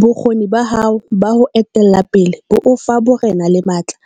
Bokgoni ba hao ba ho etella pele bo o fa borena le matla,